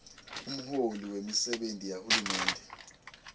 umholi wemisebenti yahulumende